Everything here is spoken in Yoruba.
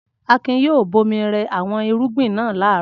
Akin yóò bomi rẹ àwọn irúgbìn náà láàárọ̀.